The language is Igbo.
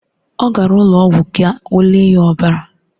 Ọ gara ụlọ ọgwụ ka o lee ya ọbara.